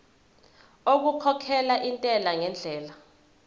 okukhokhela intela ngendlela